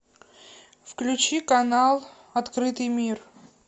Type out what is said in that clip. включи канал открытый мир